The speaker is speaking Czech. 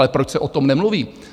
Ale proč se o tom nemluví?